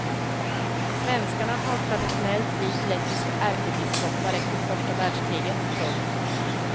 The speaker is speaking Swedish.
Svenskarna har traditionellt vigt lettiska ärkebiskopar efter första världskriget. punkt